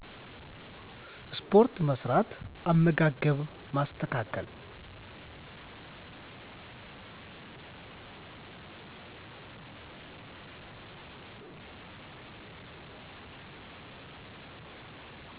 ስፖርት መስራት፣ አመጋገብን ማስተካከል